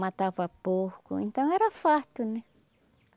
Matava porco, então era farta, né?